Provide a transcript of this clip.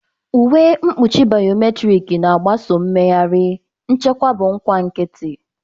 Uwe mkpuchi biometrik na-agbaso mmegharị, nchekwa bụ nkwa nkịtị.